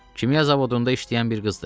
Kimya zavodunda işləyən bir qızdır.